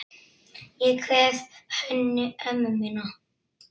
Ég kveð Hönnu ömmu mína.